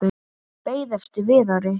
Beið eftir Viðari.